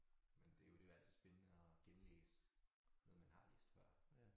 Men det jo det jo altid spændende at genlæse noget man har læst før